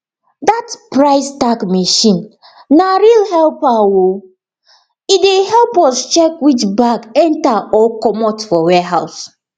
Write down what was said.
that price tag machine na real helper o e dey help us check which bag enter or comot for warehouse